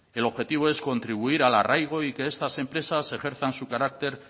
el objetivo es contribuir al arraigo y que estas empresas ejerzan su carácter